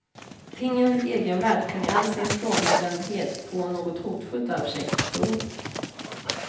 Tingens egenvärld kan i all sin frånvändhet få något hotfullt över sig. punkt